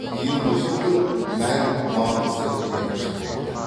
биылғы жылдың мән маңызы ерекше болды